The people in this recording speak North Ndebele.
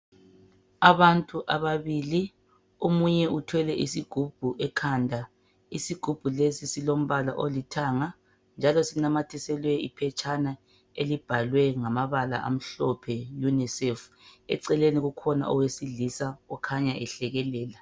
Abantu ababili omunye uthwele isigubhu ekhanda. Isigubhu lesi silombala olithanga njalo sinanyathisiwe iphetshana elibhalwe ngamabala amhlophe UNICEF. Eceleni kukhona owesilisa okhanya ehlekelela.